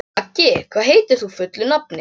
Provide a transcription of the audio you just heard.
Maggi, hvað heitir þú fullu nafni?